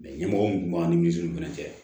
ɲɛmɔgɔ min tun b'an nizelu fɛnɛ cɛ